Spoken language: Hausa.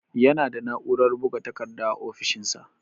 Yana da na'urar buga takarda a ofishinsa.